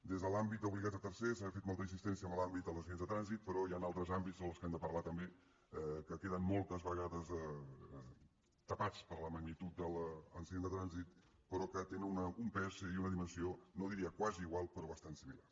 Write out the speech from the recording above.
des de l’àmbit d’obligat a tercers ha fet molta insistència en l’àmbit dels accidents de trànsit però hi han altres àmbits dels quals hem de parlar també que queden moltes vegades tapats per la magnitud de l’accident de trànsit però que tenen un pes i una dimensió no diria quasi igual però bastant similar